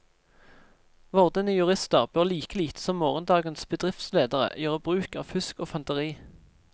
Vordende jurister bør like lite som morgendagens bedriftsledere gjøre bruk av fusk og fanteri.